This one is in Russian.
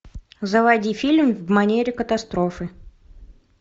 заводи фильм в манере катастрофы